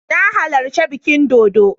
Na halarci bikin dodo